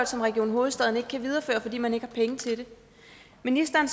som region hovedstaden ikke kan videreføre fordi man ikke har penge til det ministeren